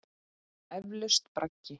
Eflaust braggi.